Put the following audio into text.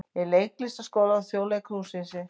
Í Leiklistarskóla Þjóðleikhússins.